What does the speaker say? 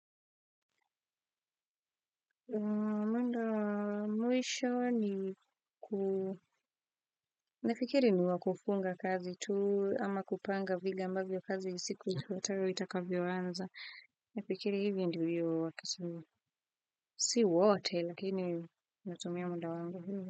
Manda mwisho ni ku nafikiri ni wakufunga kazi tuu ama kupanga vile ambavyo kazi siku ifuatayo itakavyo anza nafikiri hivi ndivyo wakisuli si wote lakini natumia muda wangu vivyo.